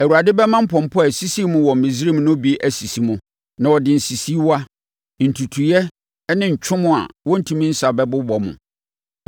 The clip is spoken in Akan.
Awurade bɛma mpɔmpɔ a ɛsisii mo wɔ Misraim no bi asisi mo. Na ɔde nsisiiwa, ntutuiɛ ne ntwom a wɔrentumi nsa bɛbobɔ mo.